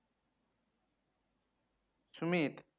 Sumit